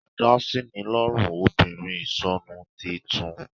Adásínilọ́rùn obìnrin ìsọnu, tí í tún